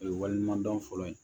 O ye waleɲuman dɔn fɔlɔ ye